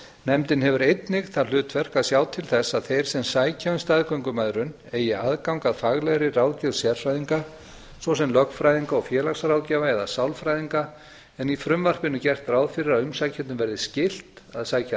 nefndin hefur einnig það hlutverk að sjá til þess að þeir sem sækja um staðgöngumæðrun eigi aðgang að faglegri ráðgjöf sérfræðinga svo sem lögfræðinga og félagsráðgjafa eða sálfræðinga en í frumvarpinu er gert ráð fyrir að umsækjendum verði skylt að sækja